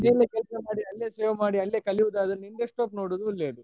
ಅಲ್ಲೇ work ಮಾಡಿ ಅಲ್ಲೇ save ಮಾಡಿ ಅಲ್ಲೇ ಕಲ್ಯುದಾದ್ರೆ desktop ತಗೋಳೋದು ಒಳ್ಳೇದು .